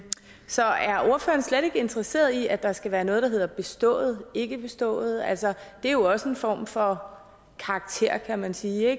så er ordføreren slet ikke interesseret i at der skal være noget der hedder bestået og ikke bestået altså det er jo også en form for karakter kan man sige